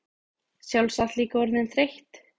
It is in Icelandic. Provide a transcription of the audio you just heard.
Sjálfsagt líka orðin þreytt.